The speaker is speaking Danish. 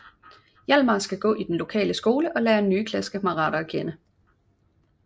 Hjalmar skal gå i den lokale skole og lære nye kammerater at kende